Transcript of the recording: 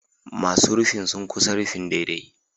Masu rufin sun ƙusa rufin daidai